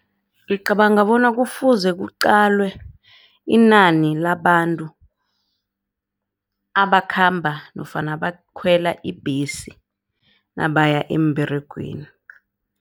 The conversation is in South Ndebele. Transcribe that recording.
Ngicabanga bona kufuze kuqalwe inani labantu abakhamba nofana abakhwela ibhesi nabaya emberegweni.